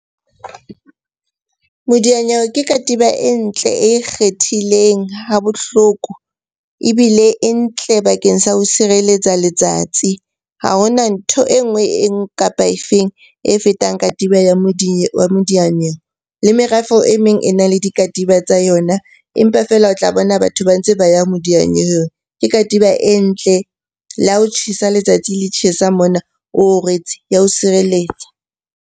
Modiyanyewe ke katiba e ntle, e ikgethileng ha bohloko. Ebile e ntle bakeng sa ho sireletsa letsatsi. Ha hona ntho enngwe kapa e feng e fetang katiba ya modiyanyewe. Le merafo e meng e na le dikatiba tsa yona, empa feela o tla bona batho ba ntse ba ya modiyanyewe. Ke katiba e ntle, le ha ho tjhesa letsatsi le tjhesa mona oo rwetse ya o sireletsa.